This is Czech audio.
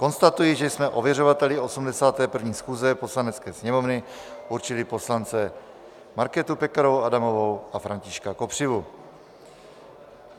Konstatuji, že jsme ověřovateli 81. schůze Poslanecké sněmovny určili poslance Markétu Pekarovou Adamovou a Františka Kopřivu.